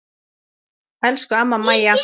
Elsku amma Mæja.